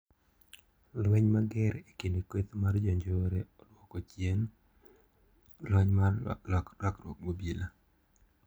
Lweny mager ekind kweth mag jonjore oduoko chien lweny mar rakruok gi ebola.